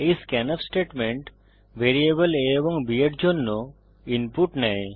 এই scanf statement variable a এবং b এর জন্য ইনপুট নেয়